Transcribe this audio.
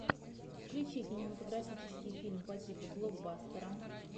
включи кинематографический фильм по типу блокбастера